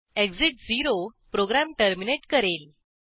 exit 0 program terminate करेल